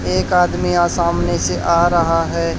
एक आदमी आ सामने से आ रहा है।